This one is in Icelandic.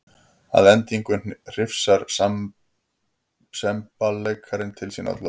Að endingu hrifsar semballeikarinn til sín öll völd.